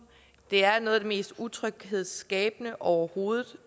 det er noget af det mest utryghedsskabende overhovedet